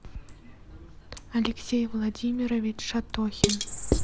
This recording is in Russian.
алексей владимирович шатохин